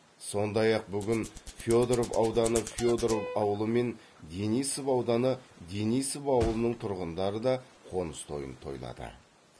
сондай ақ бүгін федоров ауданы федоров ауылы мен денисов ауданы денисов ауылының тұрғындары да қоныс тойын тойлады